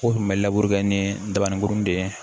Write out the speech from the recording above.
O kun bɛ labure kɛ ni dabaninkuruni de ye